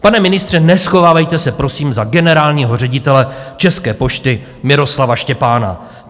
Pane ministře, neschovávejte se prosím za generálního ředitele České pošty Miroslava Štěpána.